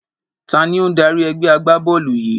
Taàní ó ń dárí ẹgbẹ́ agbá-bọ́ọ́lù yìí?